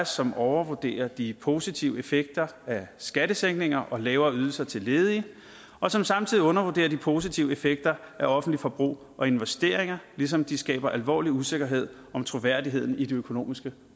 som overvurderer de positive effekter af skattesænkninger og lavere ydelser til ledige og som samtidig undervurderer de positive effekter af offentligt forbrug og investeringer ligesom de skaber alvorlig usikkerhed om troværdigheden i de økonomiske